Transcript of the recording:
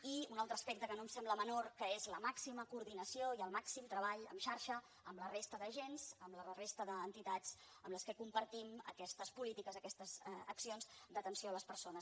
i un altre aspecte que no em sembla menor que és la màxima coordinació i el màxim treball en xarxa amb la resta d’agents amb la resta d’entitats amb què compartim aquestes polítiques aquestes accions d’atenció a les persones